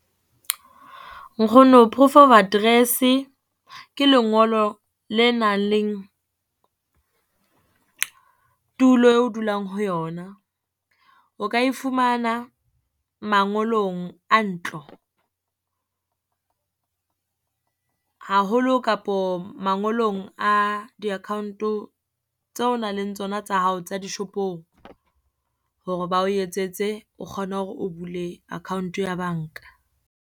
Nkgono proof of address, ke lengolo le nang le tulo o dulang ho yona. O ka e fumana mangolong a ntlo, haholo kapo mangolong a di-account-o tseo nang le tsona tsa hao tsa dishopong, hore bao etsetse. O kgone hore o bule account ya banka.